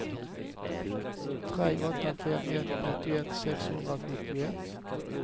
tre åtta fem ett nittioett sexhundrasjuttioett